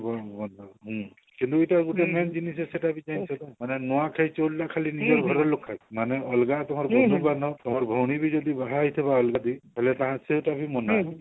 ଓ ହଁ କିନ୍ତୁ ଏ ଗୁଟେ main ଜିନିଷ ସେଟା କି ନୂଆଖାଇ ଚଉଲ ରେ ଖାଲି ନୂଆ ଘର ର ଲୁକ ଖାଇବେ ମାନେ ଅଲଗା କାହାର ବନ୍ଧୁ ବାନ୍ଧବ କାହାର ଭଉଣୀ ବି ଯଦି ବାହା ହେଇ ଥିବ ଅଲଗା ଠି ତାହେଲେ ସେଟା ବି ମନା